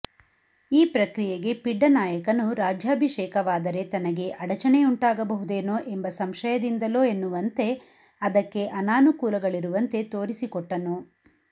ಈ ಪ್ರಕ್ರಿಯಗೆ ಪಿಡ್ಡನಾಯಕನು ರಾಜ್ಯಾಭೀಷೇಕವಾದರೆ ತನಗೆ ಅಡಚಣೆಯುಂಟಾಗಬಹುದೇನೋ ಎಂಬ ಸಂಶಯದಿಂದಲೋ ಎನ್ನುವಂತೆ ಅದಕ್ಕೆ ಅನಾನುಕೂಲಗಳಿರುವಂತೆ ತೋರಿಸಿಕೊಟ್ಟನು